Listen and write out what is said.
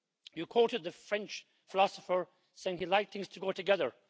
You quoted the French philosopher, saying he liked things to go together.